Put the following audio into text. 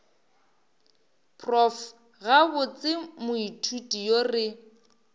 prof gabotse moithuti yo re